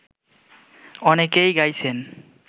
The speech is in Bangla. অনেকেই গাইছেন